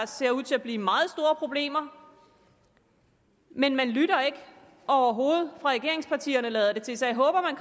ser ud til at blive meget store problemer men man lytter overhovedet fra regeringspartiernes side lader det til så jeg håber at